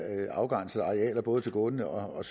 afgrænsede arealer både til gående og